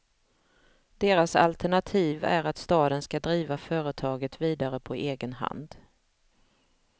Deras alternativ är att staden ska driva företaget vidare på egen hand.